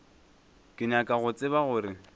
ke nyaka go tseba gore